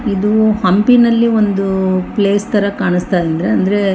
ಇದು ಹಂಪಿನಲಿ ಒಂದು ಪ್ಲೇಸ್ ತರ ಕಾಣಿಸ್ತ ಇದೆ ಅಂದ್ರೆ --